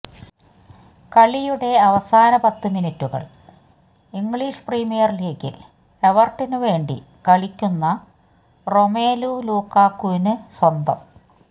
കളിയുടെ അവസാന പത്തു മിനിറ്റുകൾ ഇംഗ്ലിഷ് പ്രീമിയർ ലീഗിൽ എവർട്ടനു വേണ്ടി കളിക്കുന്ന റൊമേലു ലുക്കാക്കുവിനു സ്വന്തം